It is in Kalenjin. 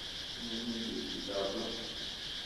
Anyone eng betutab lo